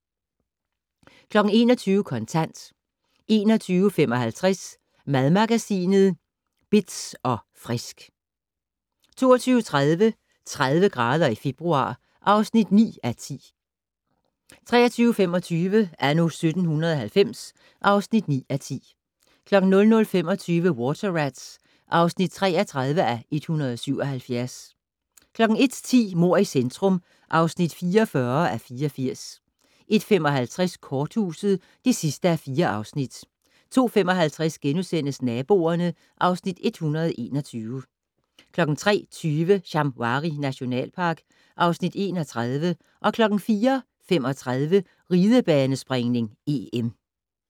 21:00: Kontant 21:55: Madmagasinet Bitz & Frisk 22:30: 30 grader i februar (9:10) 23:25: Anno 1790 (9:10) 00:25: Water Rats (33:177) 01:10: Mord i centrum (44:84) 01:55: Korthuset (4:4) 02:55: Naboerne (Afs. 121)* 03:20: Shamwari nationalpark (Afs. 31) 04:35: Ridebanespringning: EM